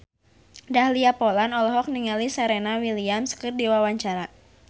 Dahlia Poland olohok ningali Serena Williams keur diwawancara